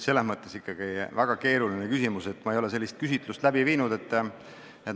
See on väga keeruline küsimus, ma ei ole sellist küsitlust läbi viinud.